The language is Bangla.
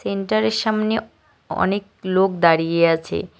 থিন্টারের অনেক লোক দাড়িয়ে আছে।